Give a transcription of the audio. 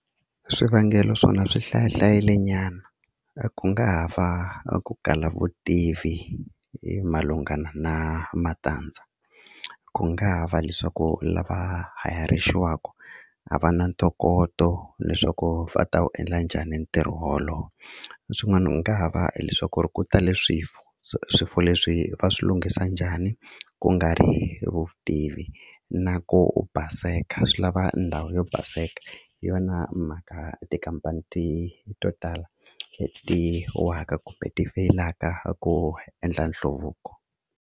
Swivangelo swona swi hlaya hlayile nyana ku nga ha va a ku kala vutivi hi malungana na matandza ku nga ha va leswaku lava hayarixiwaku a va na ntokoto leswaku va ta wu endla njhani ntirho wolowo leswin'wana u nga ha va hileswaku ri ku tale swifo swifo leswi va swi lunghisa njhani ku nga ri vutivi na ku u baseka swi lava ndhawu yo baseka hi yona mhaka tikhampani ti to tala leti waka kumbe ti feyilaka ku endla nhluvuko.